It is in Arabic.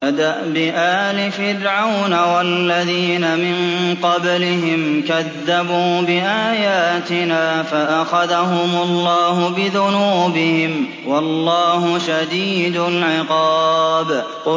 كَدَأْبِ آلِ فِرْعَوْنَ وَالَّذِينَ مِن قَبْلِهِمْ ۚ كَذَّبُوا بِآيَاتِنَا فَأَخَذَهُمُ اللَّهُ بِذُنُوبِهِمْ ۗ وَاللَّهُ شَدِيدُ الْعِقَابِ